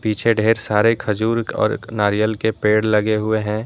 पीछे ढेर सारे खजूर और नारियल के पेड़ लगे हुए हैं।